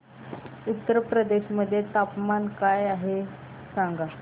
उत्तर प्रदेश मध्ये तापमान काय आहे सांगा